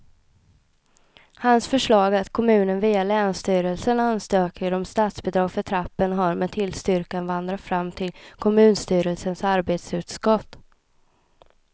Hans förslag att kommunen via länsstyrelsen ansöker om statsbidrag för trappan har med tillstyrkan vandrat fram till kommunstyrelsens arbetsutskott.